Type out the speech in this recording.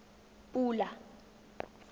pula